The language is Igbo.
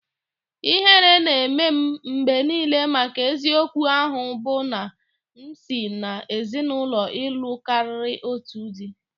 Ihere na-eme m mgbe niile maka eziokwu ahụ bụ na m si n'ezinụlọ ịlụ karịa otu di